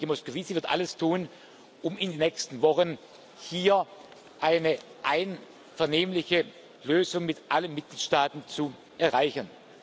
Mein Kollege Moscovici wird alles tun, um in den nächsten Wochen hier eine einvernehmliche Lösung mit allen Mitgliedstaaten zu erreichen.